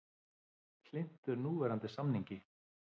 Hlynntur núverandi samningi